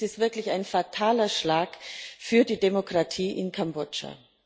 Dies ist wirklich ein fataler Schlag für die Demokratie in Kambodscha.